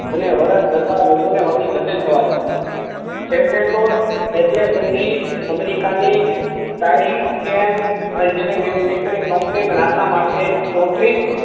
અને વર્ષ કરતા વધુ ને વધુ જટિલ થવા લાગ્યું. છેવટે તો એટલે સુધી અમેરિકા ની સાહીકેમ એંજીન્યરિંગ મેન્યુફેક્ચરિંગ કંપની નાસા માટે ચોતરીશ